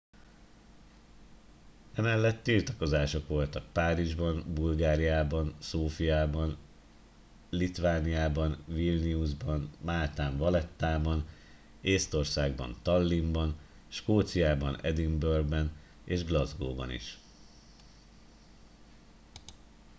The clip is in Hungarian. emellett tiltakozások voltak párizsban bulgáriában szófiában litvániában vilniusban máltán valettában észtországban tallinnban skóciában edinburgh ban és glasgow ban is